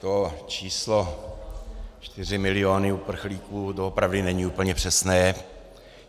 To číslo čtyři miliony uprchlíků doopravdy není úplně přesné.